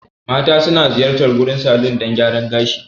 Mata suna ziyartar gurin salon dan gyaran gashi.